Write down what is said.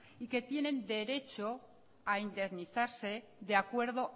y que tienen derecho a indemnizarse de acuerdo